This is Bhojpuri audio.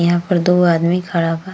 यहाँ पर दो आदमी खड़ा बा।